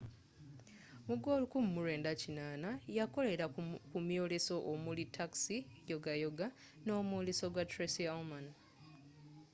mu gwe 1980 yakolera ku myoleso omuli taxi, yogayoga nomwoles gwa tracy ullman